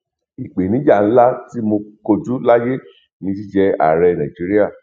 ìpèníjà ńlá tí mo kojú láyé ni jíjẹ ààrẹ nàìjíríà